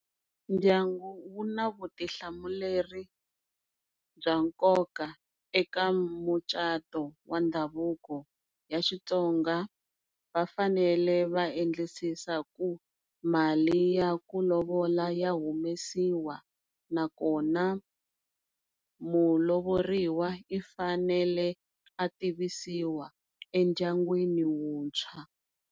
Ndyangu wu na vutihlamuleri bya nkoka eka mucato wa ndhavuko ya xitsonga va fanele va endlisisa ku mali yaku lovola ya humesiwa na kona mulovoriwa i fanele a tivisiwa endyangwini wuntshwa.